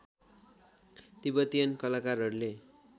Tibetan कलाकारहरूले